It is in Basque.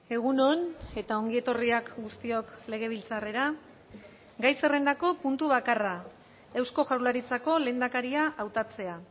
egun on eta ongi etorriak guztiok legebiltzarrera gai zerrendako puntu bakarra eusko jaurlaritzako lehendakaria hautatzea